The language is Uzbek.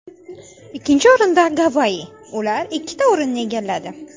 Ikkinchi o‘rinda Gavayi ular ikkita o‘rinni egalladi.